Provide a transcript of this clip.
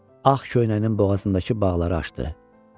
Ağ köynəyinin boğazındakı bağları açdı.